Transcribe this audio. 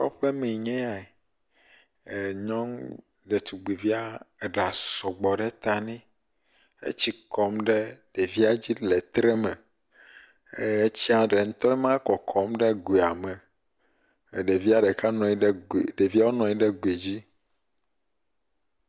Kɔƒemee nya yae. Nyɔnu detugbivi, eɖa sɔgbɔ ɖe ta nɛ. Etsi kɔm ɖe ɖevia dzi le treme, ɛɛ etsia ɖe ŋutɔe ma kɔkɔm ɖe goea me. ɛɛ ɖevia ɖeka nɔ anyi ɖe goe, ɖeviawo nɔ anyi ɖe goe dzi